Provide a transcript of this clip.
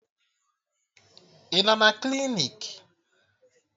Ị nọ na klinik?